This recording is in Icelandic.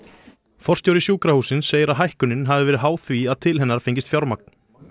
forstjóri sjúkrahússins segir að hækkunin hafi verið háð því að til hennar fengist fjármagn